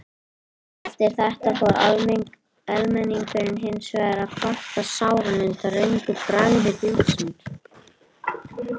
Eftir þetta fór almenningur hins vegar að kvarta sáran undan röngu bragði bjórsins.